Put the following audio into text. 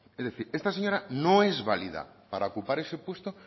es decir esta señora no es válida para ocupar ese puesto